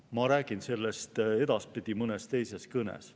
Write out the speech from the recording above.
Aga ma räägin sellest edaspidi, mõnes teises kõnes.